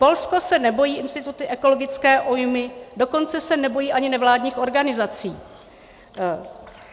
Polsko se nebojí institutu ekologické újmy, dokonce se nebojí ani nevládních organizací.